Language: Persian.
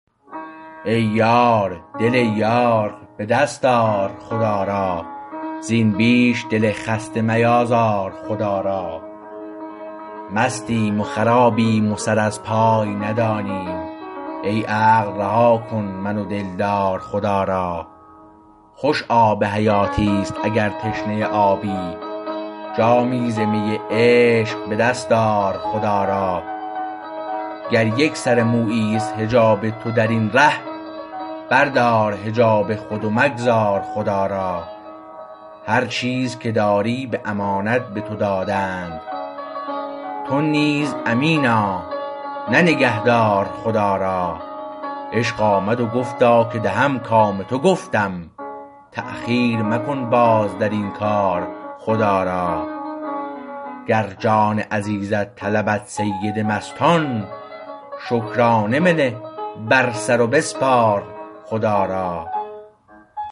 ای یار دل یار به دست آر خدا را زین بیش دل خسته میازار خدا را مستیم و خرابیم و سر از پای ندانیم ای عقل رها کن من و دلدار خدا را خوش آب حیاتیست اگر تشنه آبی جامی ز می عشق به دست آر خدا را گر یک سر موییست حجاب تو در این ره بردار حجاب خود و مگذار خدا را هر چیز که داری به امانت به تو دادند تو نیز امینا نه نگهدار خدا را عشق آمد و گفتا که دهم کام تو گفتم تاخیر مکن باز در این کار خدا را گر جان عزیزت طلبد سید مستان شکرانه بنه بر سر و بسپار خدا را